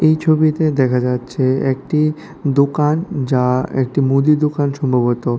এই ছবিতে দেখা যাচ্ছে একটি দোকান যা একটি মুদি দোকান সম্ভবত।